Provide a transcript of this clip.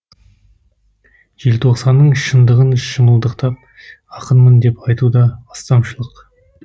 желтоқсанның шындығын шымылдықтап ақынмын деп айту да астамшылық